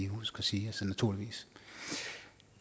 huske at sige naturligvis